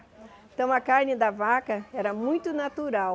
Então a carne da vaca era muito natural.